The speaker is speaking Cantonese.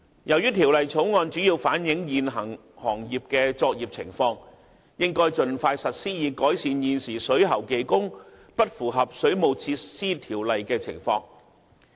由於《條例草案》主要反映現行行業的作業情況，故應該盡快實施，以改善現時水喉技工不符合《水務設施條例》的情況。